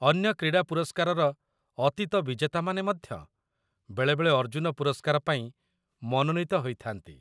ଅନ୍ୟ କ୍ରୀଡ଼ା ପୁରସ୍କାରର ଅତୀତ ବିଜେତାମାନେ ମଧ୍ୟ ବେଳେବେଳେ ଅର୍ଜୁନ ପୁରସ୍କାର ପାଇଁ ମନୋନୀତ ହୋଇଥା'ନ୍ତି।